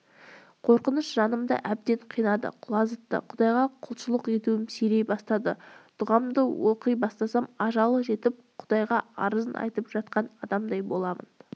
қорқыныш жанымды әбден қинады құлазытты құдайға құлшылық етуім сирей бастады дұғамды оқи бастасам ажалы жетіп құдайға арызын айтып жатқан адамдай боламын